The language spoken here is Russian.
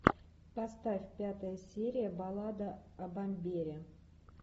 поставь пятая серия баллада о бомбере